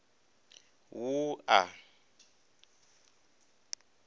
wua